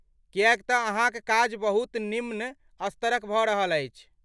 किएक तँ अहाँक काज बहुत निम्न स्तरक भऽ रहल अछि।